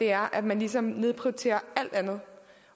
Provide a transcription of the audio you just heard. er at man ligesom nedprioriterer alt andet